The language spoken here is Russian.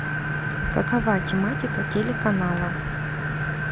какова тематика телеканала